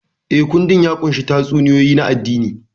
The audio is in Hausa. Eh, kundin ya ƙunshi tatsuniyoyi na addini.